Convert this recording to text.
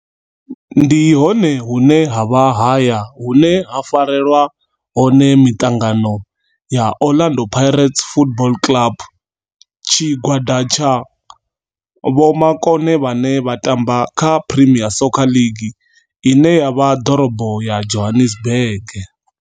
Ndi hone hune havha haya hune ha farelwa hone miṱangano ya Orlando Pirates Football Club. Tshigwada tsha vhomakone vhane vha tamba kha Premier Soccer League ine ya vha ḓorobo ya Johannesburg.